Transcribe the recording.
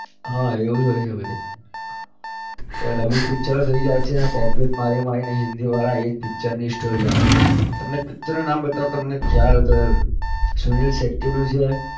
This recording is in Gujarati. હા એવું જ હોય છે બધે કે dubbing picture થઇ જાય છે અને copy ઓ જ મારી મારી ને હિન્દીવાળા એ જ picture ની story ઓ આવે છે તમને picture નું નામ બતાવું તમને ખ્યાલ હોય તો સુનીલ શેટ્ટીનું જે